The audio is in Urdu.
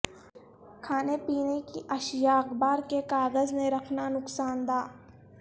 کھانے پینے کی اشیاء اخبار کے کاغذ میں رکھنا نقصاندہ